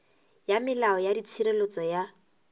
ya molao ya tshireletso ya